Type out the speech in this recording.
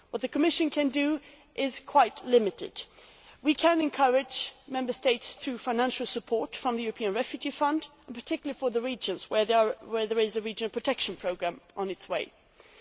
What the Commission can do is quite limited. We can encourage Member States through financial support from the European Refugee Fund, particularly for the regions where there is a regional protection programme in place.